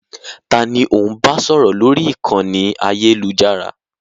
Taàní ò ń bá sọ̀rọ̀ lórí ìkànnì ayélujára?